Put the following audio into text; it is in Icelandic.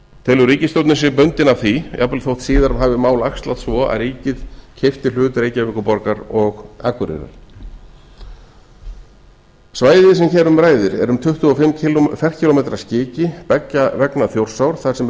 telur ríkisstjórnin sig jafnvel bundna af því jafnvel þótt síðar hafi mál æxlast svo að rakið keypti hlut reykjavíkurborgar og akureyrar svæðið sem hér um ræðir er um tuttugu og fimm ferkílómetra skiki beggja vegna þjórsár þar sem eru